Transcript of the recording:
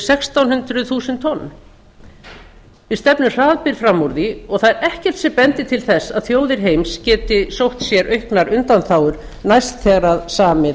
sextán hundruð þúsund tonn við stefnum hraðbyri fram úr því og það er ekkert sem bendir til ber að þjóðir heims geti sótt sér auknar undanþágur næst þegar samið